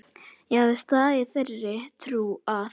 Ég hafði staðið í þeirri trú að